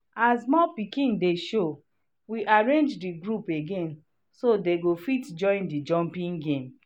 as more piking dey show we arrange the group again so dey go fit join the jumpping game